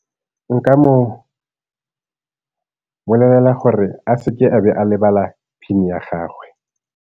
Nka mo bolelela gore a seke a be a lebala PIN-e ya gagwe.